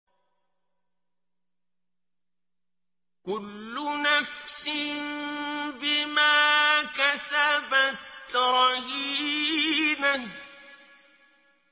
كُلُّ نَفْسٍ بِمَا كَسَبَتْ رَهِينَةٌ